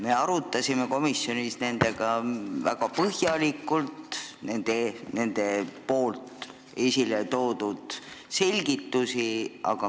Me arutasime komisjonis nendega väga põhjalikult nende selgitusi.